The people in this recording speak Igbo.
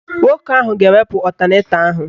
Nwoke ahụ ga-ewepụ ọtanetọ ahụ